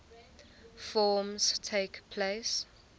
forms takes place